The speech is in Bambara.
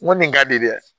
N ko nin ka di dɛ